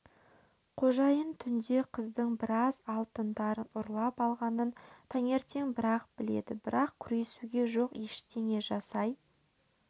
қожайын түнде қыздың біраз алтындарын ұрлап алғанын таңертең бір-ақ біледі бірақ күресуге жоқ ештеңе жасай